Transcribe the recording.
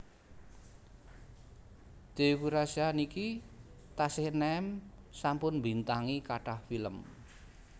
Teuku Rasya niki tasih enem sampun mbintangi kathah film